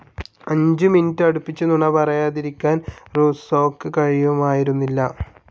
അഞ്ചു മിനുടെ അടുപ്പിച്ച് നുണ പറയാതിരിക്കാൻ റൂസ്സോക്ക് കഴിയുമായിരുന്നില്ല.